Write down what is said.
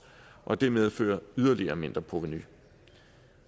og det medfører yderligere mindre provenu